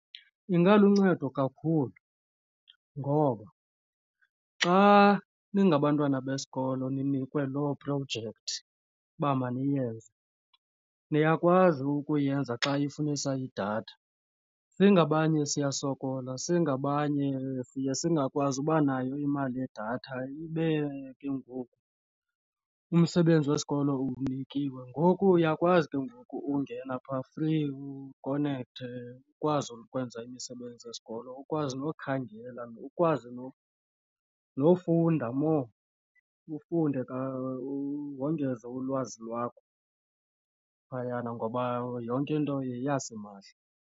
Ingaluncedo kakhulu ngoba xa ningabantwana besikolo ninikwe loo projekthi uba maniyenze niyakwazi ukuyenza xa ifunisa idatha. Singabanye siyasokola, singabanye siye singakwazi uba nayo imali yedatha ibe ke ngoku umsebenzi wesikolo uwunikiwe. Ngoku uyakwazi ke ngoku ungena phaa, funeka ukonekthe ukwazi ukwenza imisebenzi yesikolo ukwazi nokhangela ukwazi nofunda more ufunde wongeze ulwazi lwakho phayana ngoba yonke into yeyasimahla.